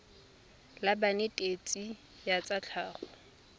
la banetetshi ba tsa tlhago